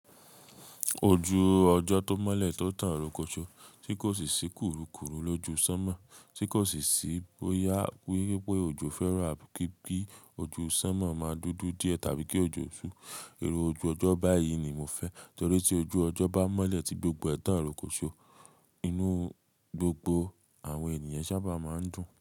Ojú ọjọ́ tó mọ́lẹ̀ tó tán ròkòṣó tí kò sì ṣí kùrukùru lójú sánmọ̀ tí kò sì ṣí bóyá pé pé òjò fẹ́ràn bí i kí ojú sánmọ̀ máa dúdú díẹ̀ tàbí kí òjò ṣú. Irú ojú ọjọ́ báyìí ni mo fẹ́ torí tí ojú ọjọ́ bá mọ́lẹ̀ tí gbogbo ẹ̀tán ròkòṣó inú gbogbo àwọn ènìyàn sábà máa ń dùn.